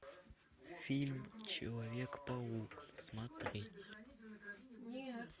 фильм человек паук смотреть